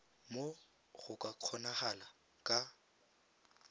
moo go ka kgonagalang ka